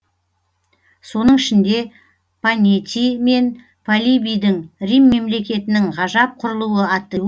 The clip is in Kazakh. соның ішінде панетий мен полибийдің рим мемлекетінің ғажап құрылуы атты